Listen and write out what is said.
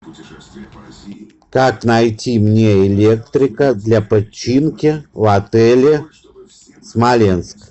как найти мне электрика для починки в отеле смоленск